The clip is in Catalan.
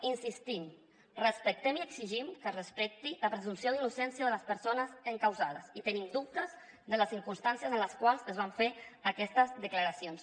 hi insistim respectem i exigim que es respecti la presumpció d’innocència de les persones encausades i tenim dubtes de les circumstàncies en les quals es van fer aquestes declaracions